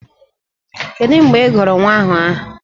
Kedu mgbe ị gụrụ nwa ahụ aha?